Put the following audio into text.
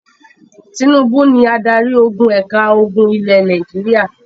Tínúbú ni adarí ogun ẹ̀ka ogun ilẹ̀ Nàìjíríà.